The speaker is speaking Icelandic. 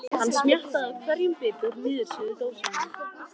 Hann smjattaði á hverjum bita úr niðursuðudósinni.